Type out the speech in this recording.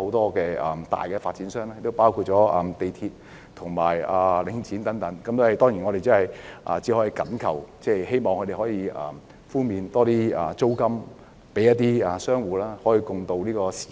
多間大發展商及業主，包括香港鐵路有限公司和領展，我們只能懇求及希望他們能寬免租戶的租金，與他們共渡時艱。